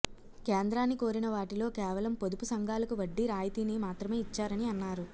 కేంద్రాన్ని కోరిన వాటిలో కేవలం పొదుపు సంఘాలకు వడ్డీ రాయితీని మాత్రమే ఇచ్చారని అన్నారు